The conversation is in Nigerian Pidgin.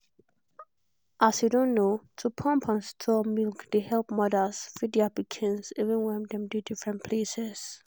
as you don know to pump and store milk dey help mothers feed their pikins even wen dem dey different places.